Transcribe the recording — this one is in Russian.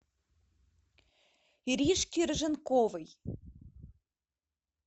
иришке рыженковой